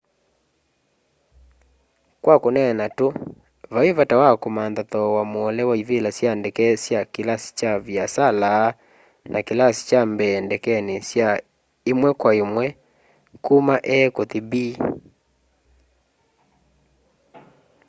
kwa kuneena tu vai vata wa kumantha thoowa muole wa ivila sya ndeke sya kilasi kya viasala na kilasi kya mbee ndekeni sya imwe kwa imwe kuma a kuthi b